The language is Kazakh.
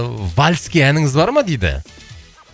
вальске әніңіз бар ма дейді